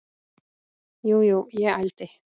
Jú, jú, ég ældi.